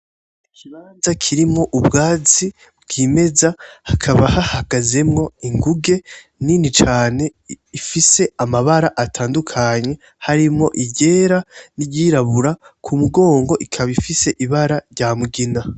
Ikibanza kirimwo ubwatsi bw'imeza hakaba hahagazemwo inguge Nini cane ifise amabara atandukanye harimwo iryera, n'iryirabura kumugongo ikaba ifise ibara ry'amugina.